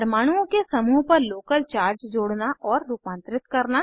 परमाणुओं के समूह पर लोकल चार्ज जोड़ना और रूपांतरित करना